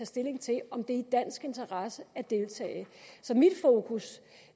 stilling til om det er i dansk interesse at deltage så mit fokus